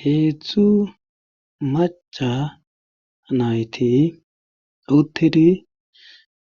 Heedzdzu maca nayti uttidi